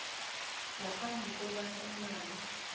ngaphambi kobana umlayo